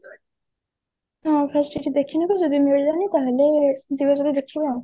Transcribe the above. ହଁ fast ଏଠି ଦେଖିନେବୁ ଯଦି ମିଳିବନି ତାହେଲେ ଦୂର ଜାଗା ଦେଖିବା ଆଉ